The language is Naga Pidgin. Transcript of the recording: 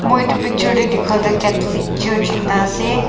moi etu picture te dekha tu catholic church ekta ase.